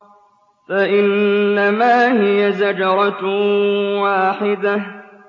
فَإِنَّمَا هِيَ زَجْرَةٌ وَاحِدَةٌ